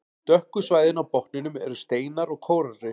Dökku svæðin á botninum eru steinar og kóralrif.